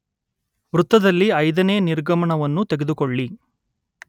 ವೃತ್ತದಲ್ಲಿ, ಐದನೇ ನಿರ್ಗಮನವನ್ನು ತೆಗೆದುಕೊಳ್ಳಿ